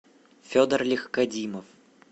федор легкодимов